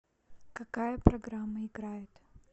какая программа играет